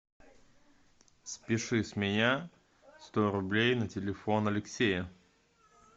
спиши с меня сто рублей на телефон алексея